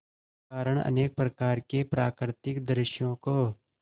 कारण अनेक प्रकार के प्राकृतिक दृश्यों को